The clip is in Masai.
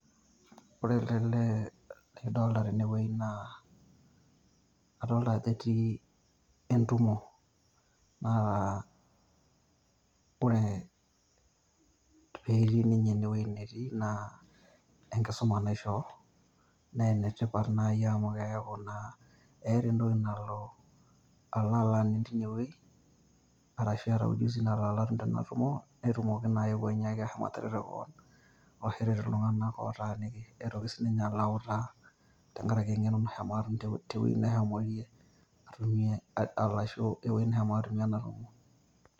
Ore ele lee lidolta tenewei naa, adolta ajo etii entumo. Naa ore petii ninye enewei naa enkisuma naishoo, na enetipat nai amu keeku naa etaa entoki nalo alo aning' tinewei, arashu etaa ujuzi nalo alo atum tena tumo, netumoki naake anyiaki ashomo atareto keon, ashu eret iltung'anak otaaniki. Nitoki sininye alo autaa tenkaraki eng'eno nashomo atum tewei neshomoyie atumie arashu ewei neshomo atumie enatumo.